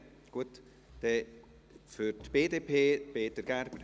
Gut, dann für die BDP, Peter Gerber.